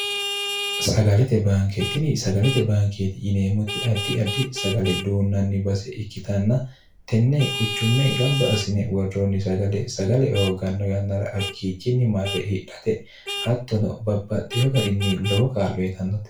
sagalete baanketini sagalete baankeeti yineemmoti addi addi sagale duunnanni base ikkitanna tenne quchumme gamba asine worroonni sagale sagale hoogganno yannara hakkiichinni marre hidhate hattono babbaxxiyo garinni lobo kaallo yitannote